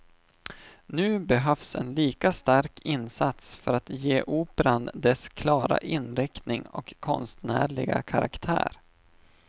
Nu behövs en lika stark insats för att ge operan dess klara inriktning och konstnärliga karaktär.